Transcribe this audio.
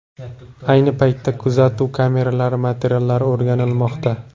Ayni paytda kuzatuv kameralari materiallari o‘rganilmoqda.